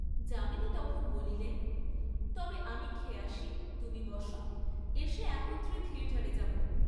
যামিনী তখন বলিলেন তবে আমি খেয়ে আসি, তুমি বস, এসে একত্রে থিয়েটারে যাব।